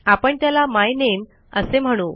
आपण त्याला माय नामे असे म्हणू